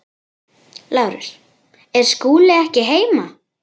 LÁRUS: Er Skúli ekki heima?